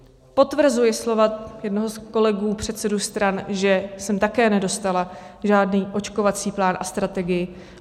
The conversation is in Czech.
Potvrzuji slova jednoho z kolegů, předsedů stran, že jsem také nedostala žádný očkovací plán a strategii.